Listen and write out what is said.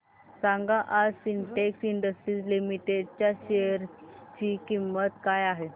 सांगा आज Sintex industries limited share शेअर ची किंमत काय आहे